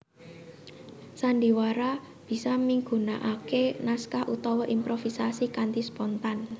Sandhiwara bisa migunaaké naskah utawa improvisasi kanthi spontan